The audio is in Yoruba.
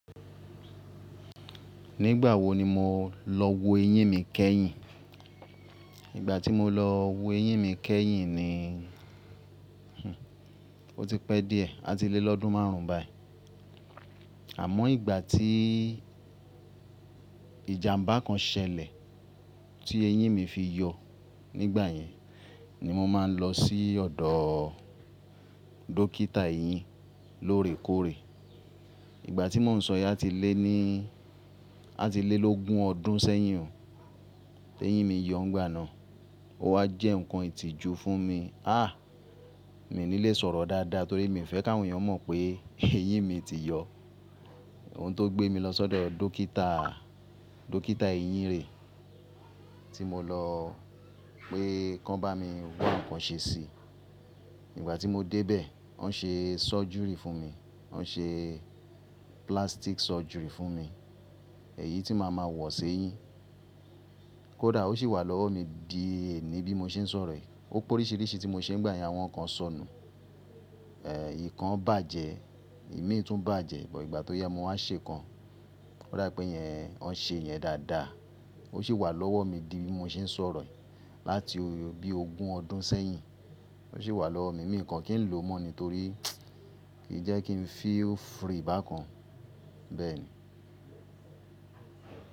Nígbà wo ni mo lọ wo eyín mi kẹ́yìn? Ìgbà tí mo lọ wo eyín mi kẹ́yìn ni ó ti pẹ́ díẹ̀, àti lé lọ́dún márùn ún báyìí. Àmọ́ ìgbà tí ìjàmbá kan ṣẹlẹ̀ tí eyín mi fi yọ nígbà yẹn, ni mo máa ń lọ sí ọ̀dọ̀ dókítà eyín lóòrèkóòrè. Ìgbà tí mò ń sọ yi ati lé ní àti lé lógun ọdún sẹ́yìn tí eyín mi yọ nígbà náà. Ó wá jẹ́ nǹkan ìtìjú fún mi. Àh! Mi ò ní lè sọ̀rọ̀ dáadáa torí mi ò fẹ́ kí àwọn èèyàn mọ̀ pé eyín mi ti yọ. Ohun tó gbé mi lọ sọ́dọ̀ dókítà, dókítà eyín rè é tí mo lọ pé kí wọ́n bá mi wa n nǹkan ṣe sí i. Nígbà tí mo dé bẹ̀, wọ́n ṣe surgery fún mi. Wọ́n ṣe plastic surgery fún mi, èyí tí màá ma wọ̀ ṣe eyín. Kódà ó sì wà lọ́wọ́ mi di ení bí mo ṣe ń sọ̀rọ̀ yìí. Ó po oríṣìíríṣìí tí mo ṣe nígbà yẹn, àwọn kan sọnù, ẹ́ ìkan bàjẹ́, ìmí tún bàjẹ́, bo ìgbà tó yá mo wá ṣe kan. Ó dá pé iyen, wọ́n ṣe iyen dáadáa. Ó sì wà lọ́wọ́ mi di bí mo ṣe ń sọ̀rọ̀ yìí láti bí ogún ọdún sẹ́yìn. Ó sì wà lọ́wọ́ mi, mi kò kí ń lò mọ́ ni torí kìí jẹ́ kí ń feel free bákan. Bẹ́ẹ̀ ni.